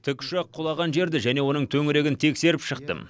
тікұшақ құлаған жерді және оның төңірегін тексеріп шықтым